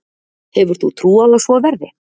Hefur þú trú á að svo verði?